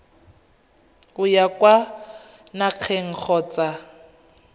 o ya kwa nageng kgotsa